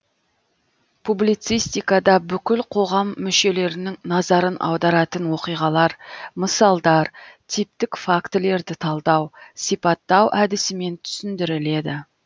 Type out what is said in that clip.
публицистикада бүкіл қоғам мүшелерінің назарын аударатын оқиғалар мысалдар типтік фактілерді талдау сипаттау әдісімен түсіндіріледі